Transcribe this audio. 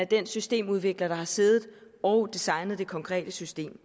den systemudvikler der har siddet og designet det konkrete system